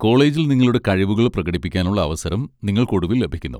കോളേജിൽ നിങ്ങളുടെ കഴിവുകൾ പ്രകടിപ്പിക്കാനുള്ള അവസരം നിങ്ങൾക്ക് ഒടുവിൽ ലഭിക്കുന്നു.